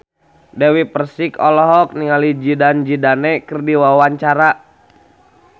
Dewi Persik olohok ningali Zidane Zidane keur diwawancara